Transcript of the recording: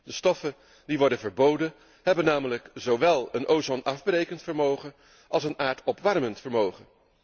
De stoffen die worden verboden, hebben namelijk zowel een ozonafbrekend vermogen als een aardopwarmend vermogen.